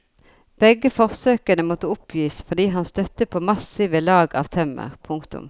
Begge forsøkene måtte oppgis fordi han støtte på massive lag av tømmer. punktum